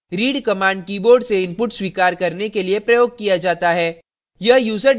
read command keyboard से input स्वीकार करने के लिए प्रयोग किया जाता है